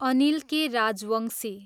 Anil K. Rajbanshi